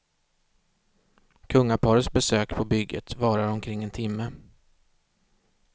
Kungaparets besök på bygget varade omkring en timme.